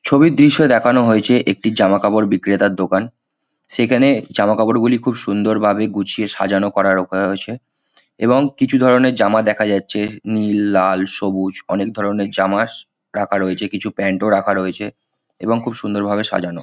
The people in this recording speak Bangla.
ছবির দৃশ্যে দেখানো হয়েছে একটি জামাকাপড় বিক্রেতার দোকান। সেখানে জামাকাপড়গুলি খুব সুন্দরভাবে গুছিয়ে সাজানো করার রোকরা রয়েছে। এবং কিছু ধরণের জামা দেখা যাচ্ছে নীল লাল সবুজ অনেকধরণের জামার রাখা রয়েছে। কিছু প্যান্ট ও রাখা রয়েছে এবং খুব সুন্দরভাবে সাজানো।